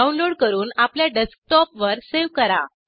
download करून आपल्या डेस्कटॉपवर सेव्ह करा